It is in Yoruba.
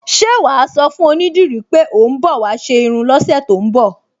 Ṣé wà á sọ fún onídìrí pé ò ń bọ̀ wá ṣe irun lọ́sẹ̀ tó ń bọ̀?